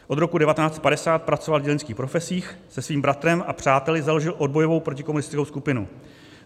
Od roku 1950 pracoval v dělnických profesích, se svým bratrem a přáteli založil odbojovou protikomunistickou skupinu.